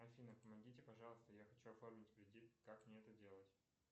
афина помогите пожалуйста я хочу оформить кредит как мне это делать